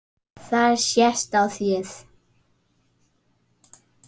Það sést á þér